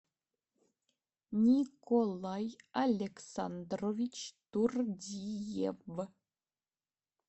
николай александрович турдиев